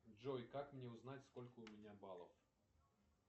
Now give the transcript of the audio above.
джой как мне узнать сколько у меня баллов